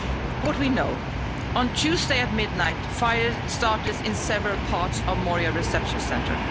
What we know on Tuesday at midnight fires started in several parts of Moria reception centre.